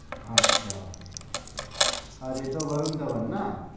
আচ্ছা-আচ্ছা আর এটা বরুন ধাবান না?